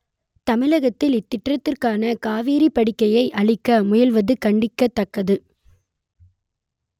தமிழகத்தில் இத்திட்டத்திற்காக காவிரிப் படுகையை அழிக்க முயல்வது கண்டிக்கத் தக்கது